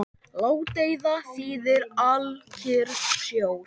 Ládeyða þýðir alkyrr sjór.